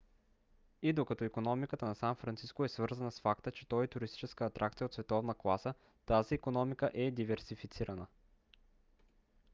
и докато икономиката на сан франциско е свързвана с факта че той е туристическа атракция от световна класа тази икономика е диверсифицирана